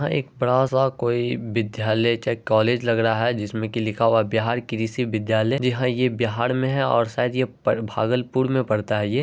यह एक बड़ा सा कोई विद्यालय या कॉलेज लग रहा है जिसमें की लिखा हुआ है बिहार कृषि विद्यालय जहाँ ये बिहार में है और शायद ये पर भागलपुर में पड़ता है ये।